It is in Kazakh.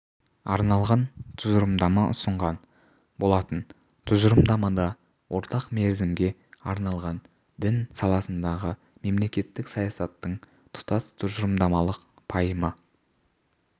арналған тұжырымдама ұсынған болатын тұжырымдамада орта мерзімге арналған дін саласындағы мемлекеттік саясаттың тұтас тұжырымдамалық пайымы